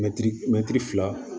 Mɛtiri mɛtiri fila